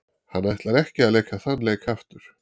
Hann ætlar ekki að leika þann leik aftur.